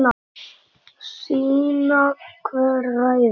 Sýna hver ræður.